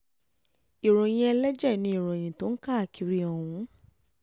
ìròyìn ẹlẹ́jẹ̀ ni ìròyìn tó ń káàkiri ọ̀hún